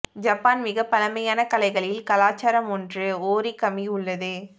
Japan மிக பழமையான கலைகளில் கலாச்சாரம் ஒன்று ஓரிகமி உள்ளது